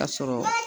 Ka sɔrɔ